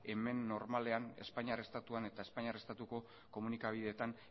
hemen normalean espainiar estatuan eta espainiar estatuko komunikabideetan